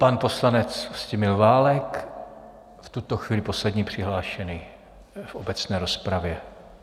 Pan poslanec Vlastimil Válek, v tuto chvíli poslední přihlášený v obecné rozpravě.